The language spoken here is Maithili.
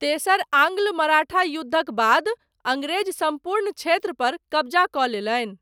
तेसर आङ्ग्ल मराठा युद्धक बाद, अङ्गरेज सम्पूर्ण क्षेत्रपर कब्जा कऽ लेलनि।